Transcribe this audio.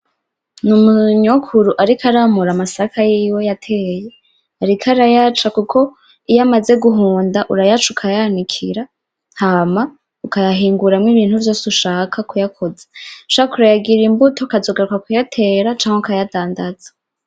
Umunyokuru ariko aramura amasaka yiwe yatewe, ariko arayaca kuko iyo yamaze guhunda urayaca ukayanikira hama ukayahingura ibintu vyose ushaka kuyakoza. Ushaka urayagirira inbuto ukazogaruka kuyatera canke kuyandadaza.